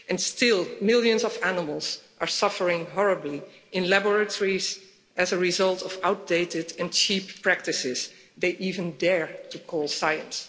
And still, millions of animals are suffering horribly in laboratories as a result of outdated and cheap practices they even dare to call science.